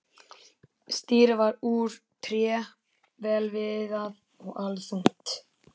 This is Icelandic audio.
Stýrið var úr tré, vel viðað og allþungt.